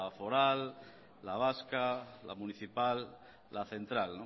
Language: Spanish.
foral la vasca la municipal la central